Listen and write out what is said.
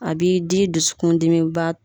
A b'i di dusukun dimi